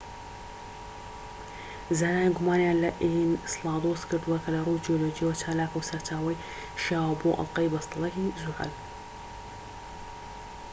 زانایان گومانیان لە ئینسلادۆس کردووە کە لە ڕووی جیۆلۆجییەوە چالاکە و سەرچاوەی شیاوە بۆ ئەڵقەی بەستەڵەکی زوحەل